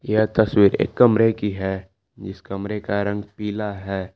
यह तस्वीर एक कमरे की है जिस कमरे का रंग पीला है।